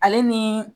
Ale ni